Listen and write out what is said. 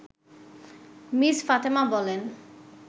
miss Fatema বলেন